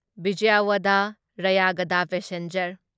ꯚꯤꯖꯌꯋꯥꯗꯥ ꯔꯌꯥꯒꯗ ꯄꯦꯁꯦꯟꯖꯔ